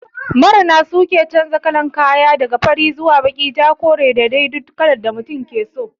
Marina su ke chanja kalan kaya, daga fari zuwa baki, ja, kore da dai dukkan kalar da mutum ke so.